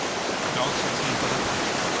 I dag syns inget av detta.